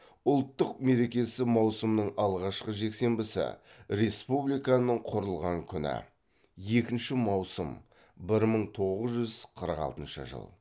ұлттық мерекесі маусымның алғашқы жексенбісі республиканың құрылған күні